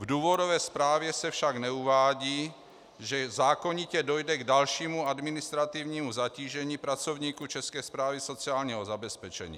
V důvodové zprávě se však neuvádí, že zákonitě dojde k dalšímu administrativnímu zatížení pracovníků České správy sociálního zabezpečení.